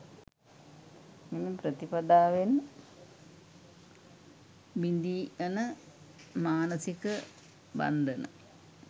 මෙම ප්‍රතිපදාවෙන් බිඳී යන මානසික බන්ධන